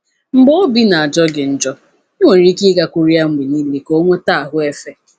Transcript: Mgbe obi na-ajọ gị njọ, i nwere ike ịgakwuru ya mgbe niile ka o nweta “ahụ́ efe.”